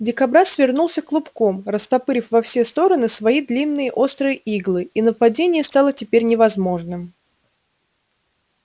дикобраз свернулся клубком растопырив во все стороны спои длинные острые иглы и нападение стало теперь невозможным